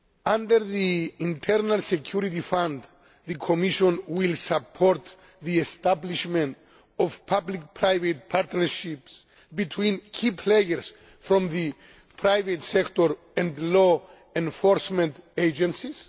Under the Internal Security Fund, the Commission will support the establishment of public private partnerships between key players from the private sector and law enforcement agencies.